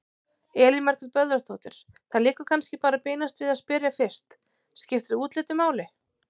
Elín Margrét Böðvarsdóttir: Það liggur kannski bara beinast við að spyrja fyrst: Skiptir útlitið máli?